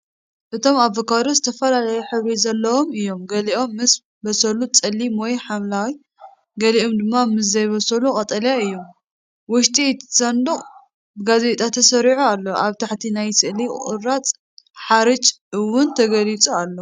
እቶም ኣቮካዶ ዝተፈላለየ ሕብሪ ዘለዎም እዮም፤ ገሊኦም ምስ በሰሉ ጸሊም ወይ ሐምላይ፡ ገሊኦም ድማ ምስ ዘይበሰሉ ቀጠልያ እዮም። ውሽጢ እቲ ሳንዱቕ ብጋዜጣ ተሰሪዑ ኣሎ። ኣብ ታሕቲ ናይቲ ስእሊ ቁራጽ ሓርጭ እውን ተገሊጹ ኣሎ።